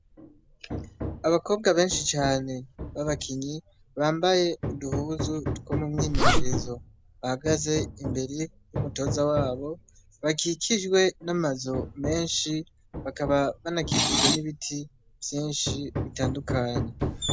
Abakobwa benshi cane babakinyi bambaye uduhuzu two mu mwimenyerezo, bahagaze imbere y'umutoza wabo bakikijwe n'amazu menshi, bakaba banakikijwe n'ibiti vyinshi bitandukanye.